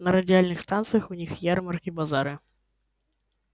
на радиальных станциях у них ярмарки базара